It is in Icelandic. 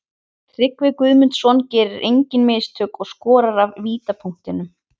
Tryggvi Guðmundsson gerir engin mistök og skorar af vítapunktinum.